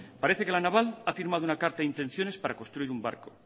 parece que la naval ha firmado una carta de intenciones para construir un barco